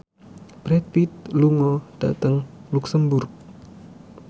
Brad Pitt lunga dhateng luxemburg